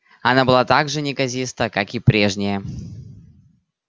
она была так же неказиста как и прежняя